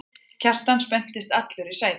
Kjartan spenntist allur í sætinu.